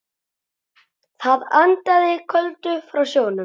Það andaði köldu frá sjónum.